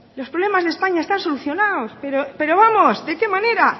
los problemas de españa están solucionados pero vamos de qué manera